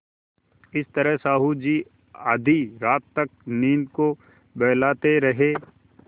इस तरह साहु जी आधी रात तक नींद को बहलाते रहे